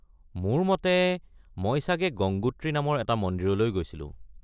মোৰ মতে মই চাগে গংগোত্ৰী নামৰ এটা মন্দিৰলৈ গৈছিলোঁ।